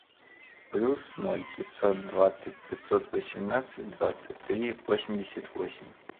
плюс ноль пятьсот двадцать пятьсот восемнадцать двадцать три восемьдесят восемь